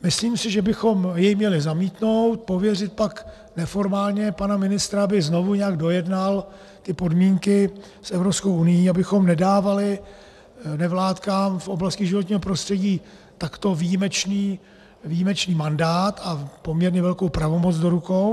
Myslím si, že bychom jej měli zamítnout, pověřit pak neformálně pana ministra, aby znovu nějak dojednal ty podmínky s Evropskou unií, abychom nedávali nevládkám v oblasti životního prostředí takto výjimečný mandát a poměrně velkou pravomoc do rukou.